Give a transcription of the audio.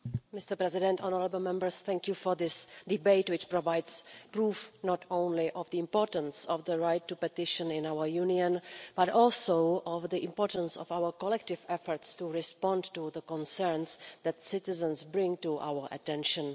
Mr President, thank you for this debate, which provides proof not only of the importance of the right to petition in our Union but also of the importance of our collective efforts to respond to the concerns that citizens bring to our attention.